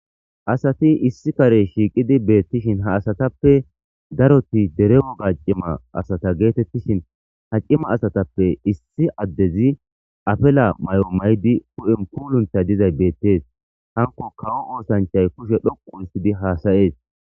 asati issi kare shiiqidi beettishin ha asatappe daroti dere woga cima asata geetettishin ha cima asatappe issi addezi afela may7o may7di hu7en puuluntay dizay beettees hanko kawo oosanchay kushe dhoquuhissidi haasayees